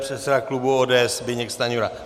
Předseda klubu ODS Zbyněk Stanjura.